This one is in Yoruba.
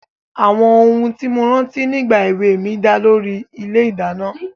Àwọn ohun tí mo rántí nígbà èwe mi dá lórí ilé-ìdáná.